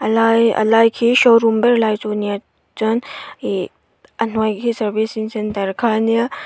a lai a lai khi showroom ber lai chu nia chuan ih a hnuai khi servicing centre kha ania.